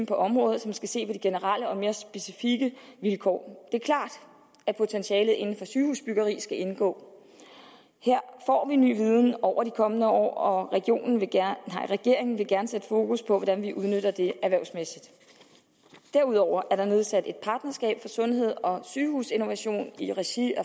på området som skal se på de generelle og mere specifikke vilkår er klart at potentialet inden for sygehusbyggeri skal indgå her får vi ny viden over de kommende år og regeringen vil gerne sætte fokus på hvordan vi udnytter det erhvervsmæssigt derudover er der nedsat et partnerskab for sundheds og sygehusinnovation i regi af